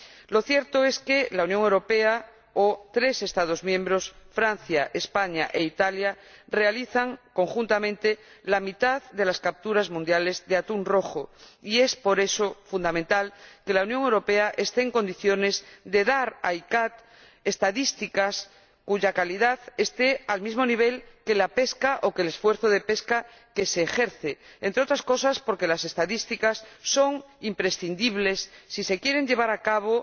Lo cierto es que la Unión Europea, o tres Estados miembros realizan conjuntamente la mitad de las capturas mundiales de atún rojo, y por eso es fundamental que la Unión Europea esté en condiciones de proporcionar a la CICAA estadísticas cuya calidad esté al mismo nivel que la pesca o que el esfuerzo de pesca que se ejerce, entre otras cosas porque las estadísticas son imprescindibles si se quieren llevar a cabo